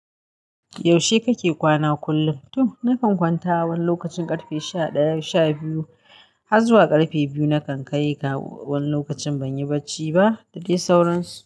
Yaushe kake kwana kullum? To nakan kwanta wani lokacin ƙarfe sha ɗaya sha biyu har zuwa ƙarfe biyu. Nakan kai ka wani lokacin banyi bacci ba. Da dai sauransu.